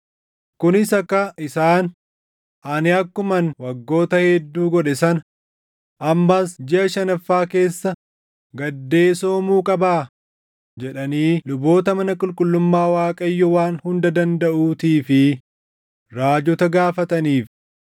kunis akka isaan, “Ani akkuman waggoota hedduu godhe sana ammas jiʼa shanaffaa keessa gaddee soomuu qabaa?” jedhanii luboota mana qulqullummaa Waaqayyo Waan Hunda Dandaʼuutii fi raajota gaafataniif.